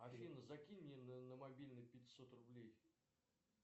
афина закинь мне на мобильный пятьсот рублей